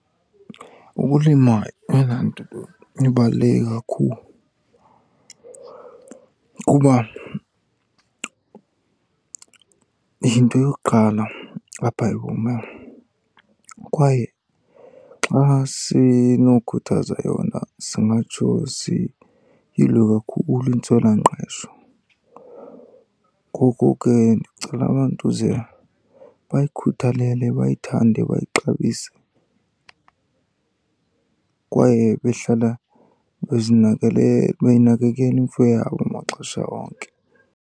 Ukulima yeyona nto ibaluleke kakhulu kuba yinto yokuqala apha ebomini, kwaye xa sinokhuthaza yona singatsho siyilwe kakhulu intswelangqesho. Ngoku ke ndicela abantu ze bayikhuthalele, bayithande, bayixabise, kwaye behlala beyinakekele imfuyo yabo maxesha onke.